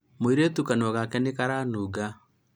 mũirĩtu kanua gake nĩ karanunga